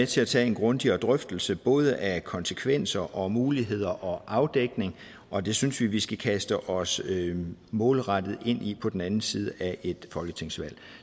til at tage en grundigere drøftelse både af konsekvenser og muligheder og afdækning og det synes vi vi skal kaste os målrettet ind i på den anden side af et folketingsvalg